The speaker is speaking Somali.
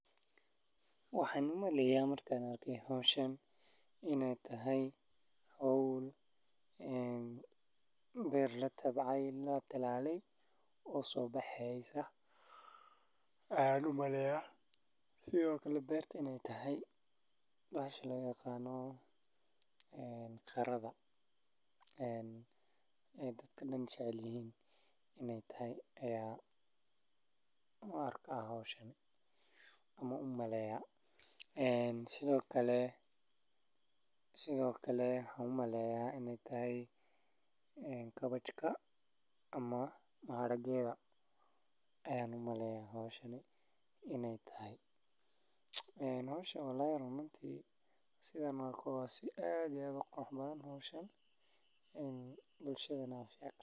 wahan Umeleye. Markaan o hoshaan inay tahay haul. Beer la tabay la talaale oso bixis ah ah u malaya. Si wuxu kale beertah inay tahay baahsaha loo yaqaano qarada ah. Ee dadkanan shacaylihin inay tahay ayaa u arka hooshani kuma umaleya. Si wuxuu kale si wuxuu kale hummalaya inay tahay kabashka ama mahadad geeda ayuu malaya inay tahay inoo sheeg walaac umuntii sida ma aqoonsii ah gaba qaxbaan hooshin bulshada nafia.